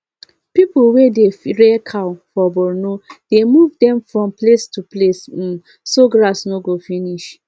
people wey dey rear cow for borno dey move them from place to place um so grass no go finish